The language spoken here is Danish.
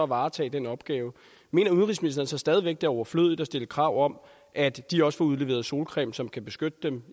varetage den opgave mener udenrigsministeren så stadig væk er overflødigt at stille krav om at de også får udleveret solcreme som kan beskytte dem